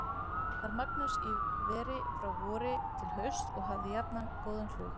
Var Magnús í veri frá vori til hausts og hafði jafnan góðan hlut.